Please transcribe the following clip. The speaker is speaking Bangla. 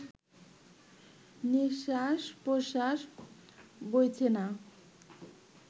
নিশ্বাস-প্রশ্বাস বইছে না